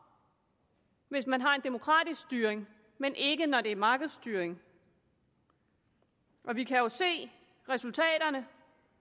hvis man har en demokratisk styring men ikke når der er markedsstyring vi kan jo se resultaterne